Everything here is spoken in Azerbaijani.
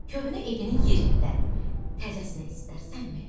Köhnə evinin yerində təzəsini istərsənmi?